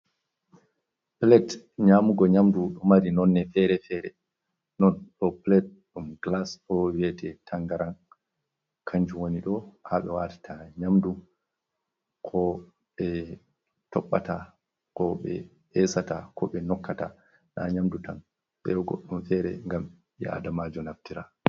Pulet nyaamugo nyamdu, ɗo mari nonne fere-fere, non ɗo pulet ɗum gilas, ɗo vi'ete tanngaran kanjum woni ɗo, haa ɓe waatata nyamdu, ko ɓe toɓɓata, ko ɓe eesata, ko ɓe nokkata, naa nyamdu tan, be goɗɗum feere, ngam ɓii aadamajo naftira.